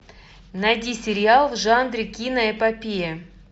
найди сериал в жанре киноэпопея